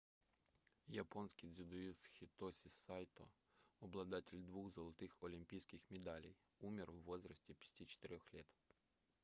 японский дзюдоист хитоси сайто обладатель двух золотых олимпийских медалей умер в возрасте 54 лет